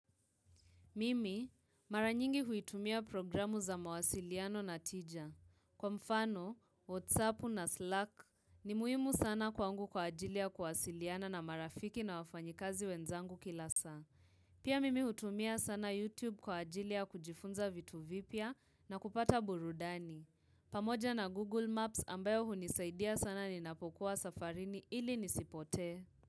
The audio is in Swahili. Mimi, mara nyingi huitumia programu za mawasiliano na tija. Kwa mfano, Whatsappu na Slack ni muhimu sana kwangu kwa ajili ya kuwasiliana na marafiki na wafanyikazi wenzangu kila saa. Pia mimi hutumia sana YouTube kwa ajili ya kujifunza vitu vipya na kupata burudani. Pamoja na Google Maps ambayo hunisaidia sana ninapokuwa safarini ili nisipote.